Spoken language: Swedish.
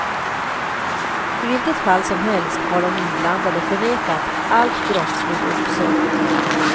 I vilket fall som helst har de inblandade förnekat allt brottsligt uppsåt.